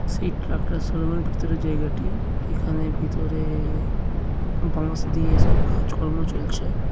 Seat একটা showroom -এর ভিতরে জায়গাটি। এখানে ভিতর-এ-এ বাঁশ দিয়ে এসব কাজকর্ম চলছে।